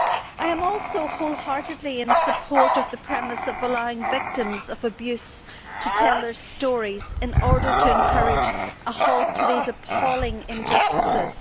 I also wholeheartedly support the premise of allowing victims of abuse to tell their stories in order to encourage a halt to these appalling injustices.